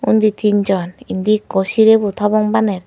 undi tin jon indi ekku sirebut hobong baner.